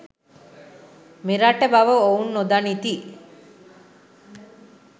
මෙරට බව ඔවුන් නොදනිති.